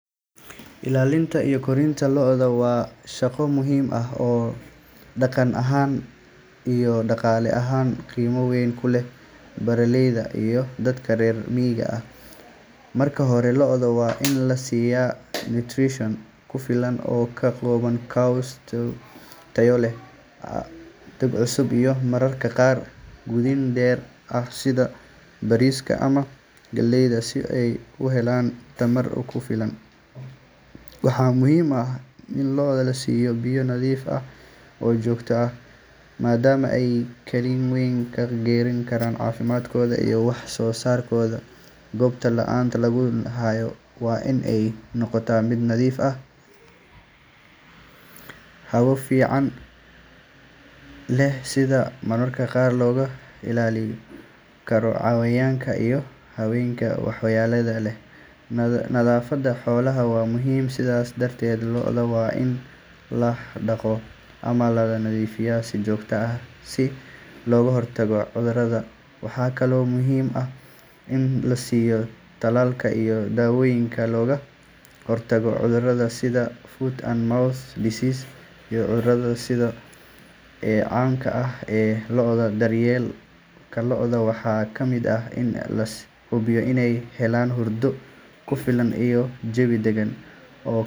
Ilaalinta iyo korinta lo’da waa shaqo muhiim ah oo dhaqan ahaan iyo dhaqaale ahaanba qiimo weyn ku leh beeralayda iyo dadka reer miyiga. Marka hore, lo’da waa in la siiyo nutrition ku filan oo ka kooban caws tayo leh, doog cusub, iyo mararka qaar quudin dheeri ah sida bariiska ama galleyda si ay u helaan tamar ku filan. Waxaa muhiim ah in lo’da la siiyo biyo nadiif ah oo joogto ah maadaama ay kaalin weyn ka ciyaaraan caafimaadkooda iyo wax soo saarkooda. Goobta lo’da lagu hayo waa in ay noqotaa mid nadiif ah, hawo fiican leh, isla markaana looga ilaalin karo cayayaanka iyo xayawaanka waxyeelada leh. Nadaafadda xoolaha waa muhiim, sidaas darteed lo’da waa in la dhaqo ama la nadiifiyaa si joogto ah si looga hortago cudurrada. Waxa kale oo muhiim ah in la siiyo tallaalka iyo daawooyinka looga hortago cudurada sida foot and mouth disease iyo cudurada kale ee caamka ah ee lo’da. Daryeelka lo’da waxaa ka mid ah in la hubiyo inay helaan hurdo ku filan iyo jawi dagan oo.